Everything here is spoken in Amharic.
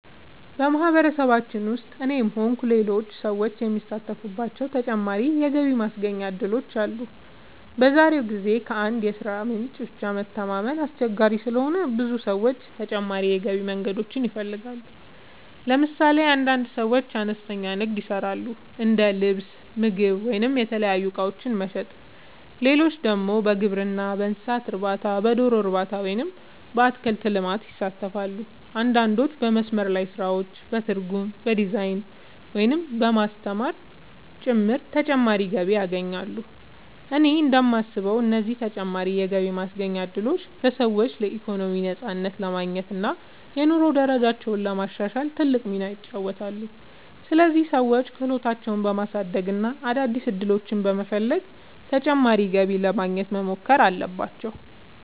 በማህበረሰባችን ውስጥ እኔም ሆንኩ ሌሎች ሰዎች የሚሳተፉባቸው ተጨማሪ የገቢ ማስገኛ እድሎች አሉ። በዛሬው ጊዜ ከአንድ የሥራ ምንጭ ብቻ መተማመን አስቸጋሪ ስለሆነ ብዙ ሰዎች ተጨማሪ የገቢ መንገዶችን ይፈልጋሉ። ለምሳሌ አንዳንድ ሰዎች አነስተኛ ንግድ ይሰራሉ፤ እንደ ልብስ፣ ምግብ ወይም የተለያዩ እቃዎች መሸጥ። ሌሎች ደግሞ በግብርና፣ በእንስሳት እርባታ፣ በዶሮ እርባታ ወይም በአትክልት ልማት ይሳተፋሉ። አንዳንዶች በመስመር ላይ ስራዎች፣ በትርጉም፣ በዲዛይን፣ ወይም በማስተማር ጭምር ተጨማሪ ገቢ ያገኛሉ። እኔ እንደማስበው እነዚህ ተጨማሪ የገቢ ማስገኛ እድሎች ለሰዎች ኢኮኖሚያዊ ነፃነት ለማግኘት እና የኑሮ ደረጃቸውን ለማሻሻል ትልቅ ሚና ይጫወታሉ። ስለዚህ ሰዎች ክህሎታቸውን በማሳደግ እና አዳዲስ ዕድሎችን በመፈለግ ተጨማሪ ገቢ ለማግኘት መሞከር አለባቸው።